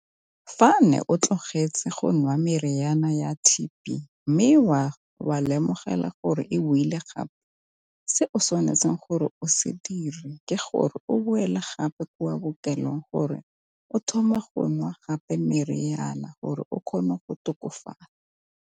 Fa ne o tlogetse go nwa meriana ya T_B, mme wa lemogela gore e boile gape se o tshwanetseng gore o se dire ke gore o boela gape kwa bookelong gore o thome go nwa gape meriana gore o kgone go tokafala.